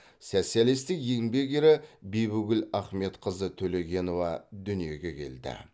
социалистік еңбек ері бибігүл ахметқызы төлегенова дүниеге келді